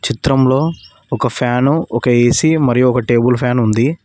చిత్రంలో ఒక ఫ్యాను ఒక ఏసీ మరియు ఒక టేబుల్ ఫ్యాన్ ఉంది.